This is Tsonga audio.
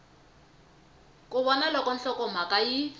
ku vona loko nhlokomhaka yi